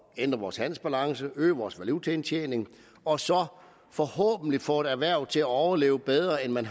ændre vores handelsbalance øge vores valutaindtjening og forhåbentlig få erhvervet til at overleve bedre end